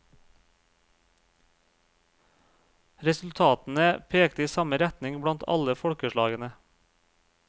Resultatene pekte i samme retning blant alle folkeslagene.